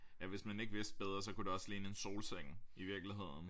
Ja hvis man ikke vidste bedre så kunne det også ligne en solseng i virkeligheden